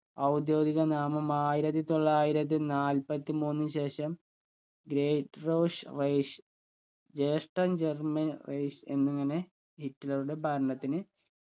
ഔദ്യോഗിക നാമം ആയിരത്തി തൊള്ളായിരത്തി നാല്പത്തിമൂന്നിന് ശേഷം ഗ്രേറ്റ്റോഷ് rich ജ്യേഷ്ഠൻ german rich എന്നിങ്ങനെ ഹിറ്റ്ലറുടെ ഭരണത്തിന്